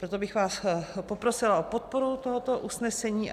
Proto bych vás poprosila o podporu tohoto usnesení.